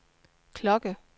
klokke